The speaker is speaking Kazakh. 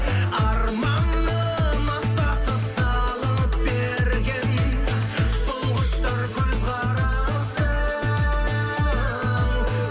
арманым аса тыс салып берген сол құштар көзқарасы